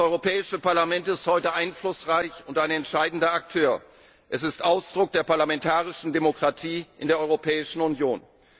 Das Europäische Parlament ist heute einflussreich und ein entscheidender Akteur, es ist Ausdruck der parlamentarischen Demokratie in der Europäischen Union.